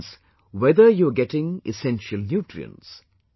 This means whether you are getting essential nutrients